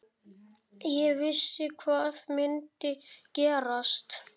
Ég vissi hvað myndi gerast.